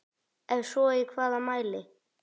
Ef svo í hvaða mæli?